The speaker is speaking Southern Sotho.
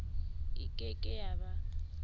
e ke ke ya ba